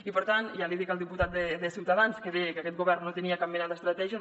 i per tant ja l’hi dic al diputat de ciutadans que deia que aquest govern no tenia cap mena d’estratègia